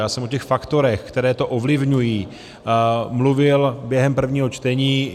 Já jsem o těch faktorech, které to ovlivňují, mluvil během prvního čtení.